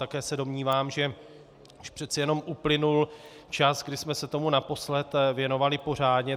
Také se domnívám, že již přece jenom uplynul čas, kdy jsme se tomu naposledy věnovali pořádně.